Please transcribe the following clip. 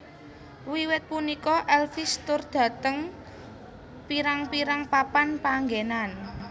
Wiwit punika Elvis tur dhateng pirang pirang papan panggenan